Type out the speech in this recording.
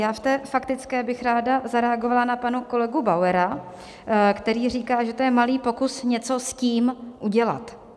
Já v té faktické bych ráda zareagovala na pana kolegu Bauera, který říká, že to je malý pokus něco s tím udělat.